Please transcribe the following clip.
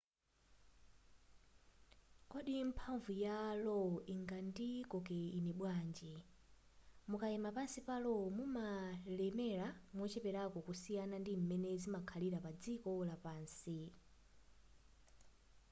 kodi mphamvu ya lo ingandikoke ine bwanji mukayima pansi pa lo mumalemera mocheperako kusiyana ndi m'mene zimakhalira padziko lapansi